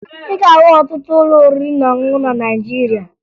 Ị ga-ahụ ọtụtụ ụlọ oriri na ọṅụṅụ na Naịjirịa